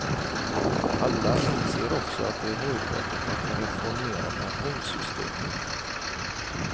Alla inser också att det är nödvändigt att reformera pensionssystemet.